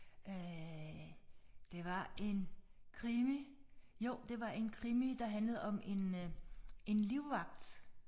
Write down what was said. Øh det var en krimi jo det var en krimi der handlede om en en livvagt